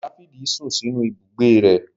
Dáfídì sún sínú ibùgbé rẹ̀